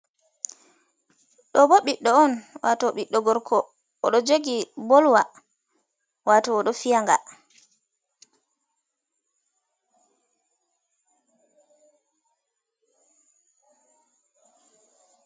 Ɗo ɓiɗɗo on wato ɓiddo gorko odo jogi ball lwa wato oɗo fi'a nga.